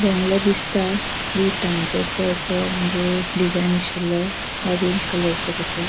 बंगलो दिसता विटांचो सो असो मनजे डिजाइन आसीलों ऑरेंज कलरसो कसो.